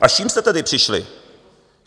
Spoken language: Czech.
A s čím jste tedy přišli?